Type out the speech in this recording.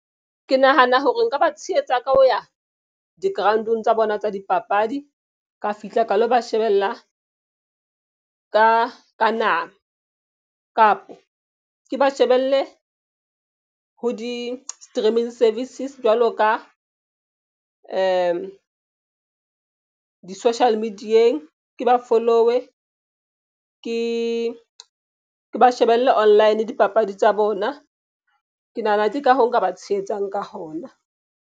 Ke nahana hore nka ba tshehetsa ka ho ya di-ground-ong tsa bona tsa dipapadi. Ka fihla ka lo ba shebella ka nama kapo ke ba shebelle ho di streaming services. Jwalo ka social media-eng. Ke ba follow-e ke ba shebelle online dipapadi tsa bona. Ke nahana ke ka hoo nka ba tshehetsang ka hona.